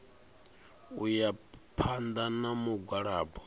u ya phanḓa na mugwalabo